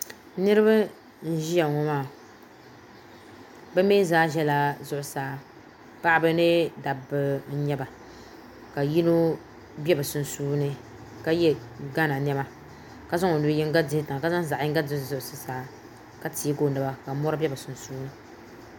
niriba n-ʒia ŋɔ maa bɛ mi zaa zaya zuɣusaa paɣiba ni dabba n-nyɛ ba ka yino be bɛ sunsuuni ka ye ghana nɛma ka zaŋ o nu' yiŋga dihi tiŋa ka zaŋ o zaɣ' yiŋga duhi zuɣusaa ka teegi o naba ka mɔri be bɛ sunsuuni